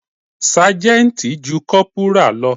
Ságẹ́ńtì ju Kọ́pùrà lọ.